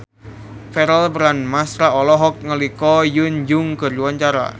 Verrell Bramastra olohok ningali Ko Hyun Jung keur diwawancara